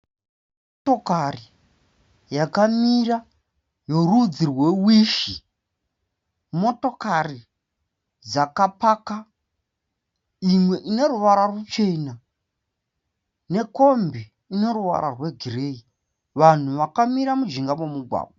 Motokari yakamira yerudzi rweWishi. Motokari dzakapaka imwe ineruvara ruchena nekombi ine ruvara rwegireyi. Vanhu vakamira mujinga memugwagwa.